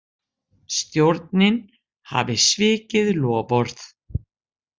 Stjórnin hafi svikið loforð